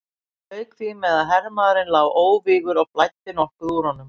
Lauk því með að hermaðurinn lá óvígur og blæddi nokkuð úr honum.